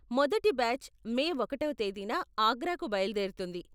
మొదటి batch May ఒకటవ తేదీన ఆగ్రాకు బయలుదేరుతుంది